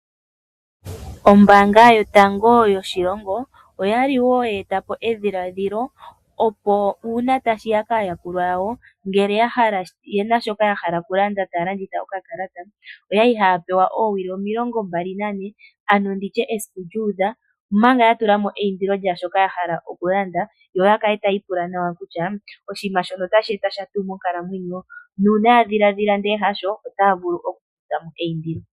Ombaanga yotango yoshilongo oya li wo ye eta po edhiladhilo opo uuna tashi ya paayakulwa yawo ngele ya hala, ye na shoka ya hala taya landitha okakalata, oyali haya pewa oowili omilongo mbali nane ano ndi tye esiku lyuudha omanga ya tula mo eindilo lya shoka ya hala okulanda yo ya kale tayi ipula nawa kutya oshiima shono otashi eta sha tu monkalamwenyo? Nuuna ya dhiladhila nde hasho, otaa vulu okukutha mo eindilo.